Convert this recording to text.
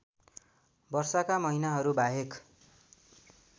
वर्षाका महिनाहरू बाहेक